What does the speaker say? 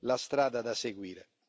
la strada da seguire.